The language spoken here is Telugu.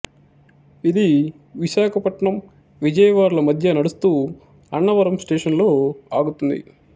ఇది విశాఖపట్నంవిజయవాడ ల మధ్య నడుస్తూ అన్నవరం స్టేషనులో ఆగుతుంది